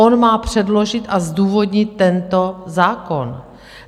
On má předložit a zdůvodnit tento zákon.